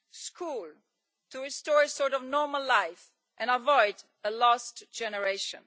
school, to restore a sort of normal life and avoid a lost generation